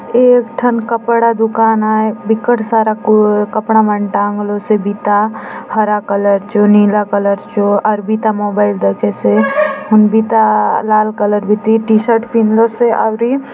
एक ठन कपड़ा दुकान आय विकट सारा कपड़ा मन टांग लो से बिता हरा कलर चो नीला कलर चो आउर बिता मोबाइल दखेसे हुन बिता लाल कलर बीती टीशर्ट पिंदलोसे आउरी --